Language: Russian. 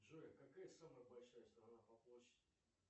джой какая самая большая страна по площади